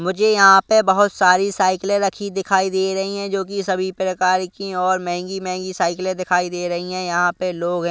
मुझे यहां पे बहुत सारी साइकिलें रखी दिखाई दे रही हैं जो कि सभी प्रकार की और महंगी महंगी साइकिलें दिखाई दे रही हैं यहां पे लोग हैं।